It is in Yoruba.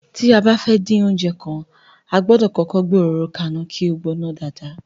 Tí a bá fẹ́ dín oúnjẹ kankan, a gbọ́dọ̀ kọ́kọ́ gbé òróró ka iná kí ó gbóná dáadáa.